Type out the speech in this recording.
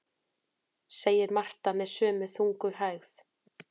segir Marta með sömu þungu hægð.